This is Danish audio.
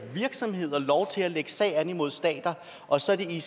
virksomheder lov til at lægge sag an imod stater og så er det